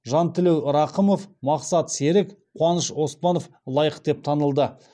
жантілеу рақымов мақсат серік қуаныш оспанов лайық деп танылды